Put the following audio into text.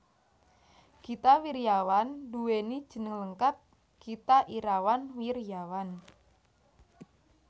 Gita Wirjawan nduwèni jeneng lengkap Gita Irawan Wirjawan